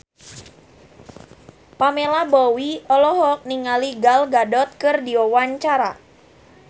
Pamela Bowie olohok ningali Gal Gadot keur diwawancara